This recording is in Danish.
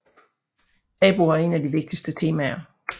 Tabuer er en af de vigtigste temaer